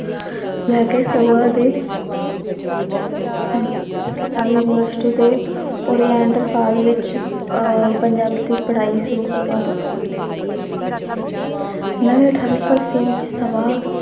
ਲੈ ਕੇ ਸਭਾ ਦੇ ਪੰਜਾਬ university ਦੇ ਵਿੱਚ ਅਹ ਪੰਜਾਬ ਦੀ ਪੜ੍ਹਾਈ ਸ਼ੁਰੂ ਕਰਵਾ ਦਿੱਤੀ ਨਵੇਂ ਅਠਾਰਾਂ ਸੌ ਅੱਸੀ ਵਿੱਚ ਸਭਾ